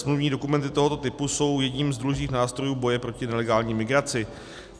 Smluvní dokumenty tohoto typu jsou jedním z důležitých nástrojů boje proti nelegální migraci.